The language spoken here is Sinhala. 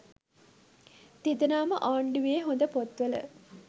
තිදෙනා ම ආණ්ඩුවේ හොඳ පොත්වල